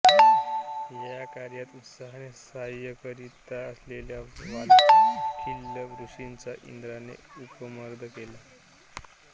या कार्यात उत्साहाने साह्य करीत असलेल्या वाल्यखिल्य ऋषींचा इंद्राने उपमर्द केला